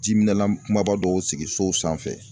Jiminɛlan kunbaba dɔw sigi so sanfɛ